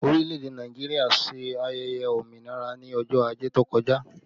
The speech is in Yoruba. Orílẹ̀ èdè Nàìjíríà ṣe ayẹyẹ òmìnira ní ọjọ́ ajé tó kọjá